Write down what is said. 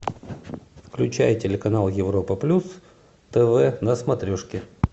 включай телеканал европа плюс тв на смотрешке